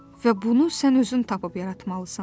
Və bunu sən özün tapıb yaratmalısan.